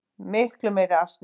Miklu meiri asni.